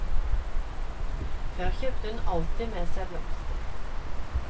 Før kjøpte hun alltid med seg blomster.